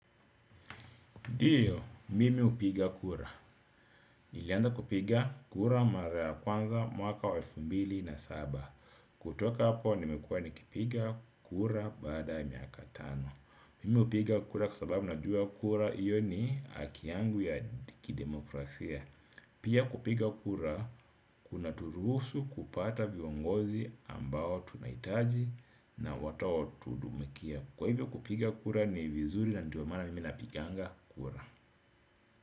Ndio, mimi hupiga kura. Nilianza kupiga kura mara ya kwanza mwaka wa elfu mbili na saba. Kutoka hapo, nimekuwa nikipiga kura baada miaka tano. Mimi hupiga kura kwa sababu najua kura hiyo ni haki yangu ya kidemokrasia. Pia kupiga kura, kunaturuhusu kupata viongozi ambao tunahitaji na watao tuhudumikia. Kwa hivyo kupiga kura ni vizuri na ndio maana mimi napiganga kura.